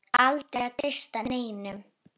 Aldrei að treysta neinum.